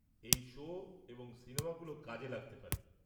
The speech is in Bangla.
এই শো এবং সিনেমাগুলো কাজে লাগতে পারে।